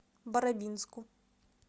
барабинску